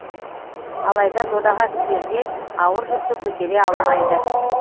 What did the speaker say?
алайда додаға түсерде ауыр жүкті көтере алмайды